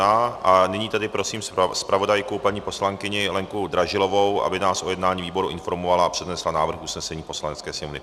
A nyní tedy prosím zpravodajku paní poslankyni Lenku Dražilovou, aby nás o jednání výboru informovala a přednesla návrh usnesení Poslanecké sněmovny.